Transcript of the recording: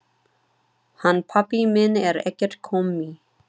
Hann pabbi minn er ekkert kommi.